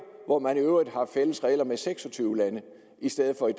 hvor man i øvrigt har fælles regler med seks og tyve lande i stedet for i